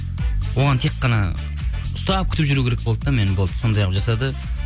оған тек қана ұстап күтіп жүру керек болды да мені болды сондай қылып жасады